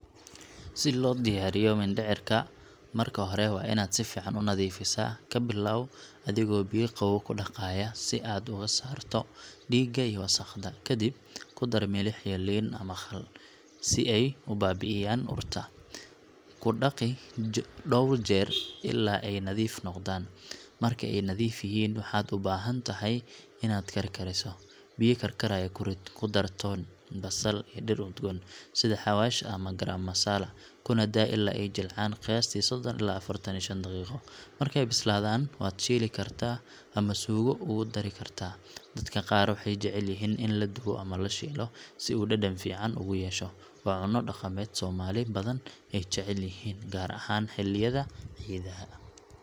Si loo diyaariyo mindhicirka, marka hore waa inaad si fiican u nadiifisaa. Ka bilow adigoo biyo qabow ku dhaqaya si aad uga saarto dhiigga iyo wasakhda. Kadib, ku dar milix iyo liin ama khal, si ay u baabi’iyaan urta. Ku dhaqi dhowr jeer illaa ay nadiif noqdaan. Marka ay nadiif yihiin, waxaad u baahan tahay inaad karkariso. Biyo karkaraya ku rid, ku dar toon, basal, iyo dhir udgoon sida xawaash ama garam masala, kuna daa ilaa ay jilcaan qiyaastii soddon ilaa affartan iyo shan daqiiqo. Markay bislaadaan, waad shiili kartaa ama suugo ugu dari kartaa. Dadka qaar waxay jeclaan karaan in la dubo ama la shiilo si uu dhadhan fiican ugu yeesho. Waa cunno dhaqameed Soomaali badan ay jecel yihiin, gaar ahaan xilliyada ciidaha.